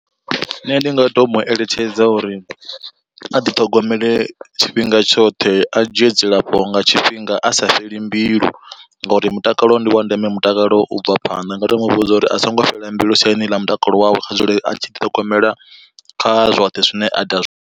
Nṋe ndi nga to mu eletshedza uri, a ḓiṱhogomele tshifhinga tshoṱhe a dzhie dzilafho nga tshifhinga asa fheli mbilu ngauri mutakalo ndi wa ndeme mutakalo u bva phanḓa. Ndi nga to mu vhudza uri a songo fhela mbilu siani ḽa mutakalo wawe kha dzule a tshi diṱhogomela kha zwoṱhe zwine aita zwone.